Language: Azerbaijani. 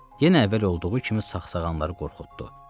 Yenə əvvəl olduğu kimi sağsağanları qorxutdu.